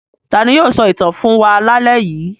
Ta ni yóò sọ ìtàn fún wa lálẹ́ yìí?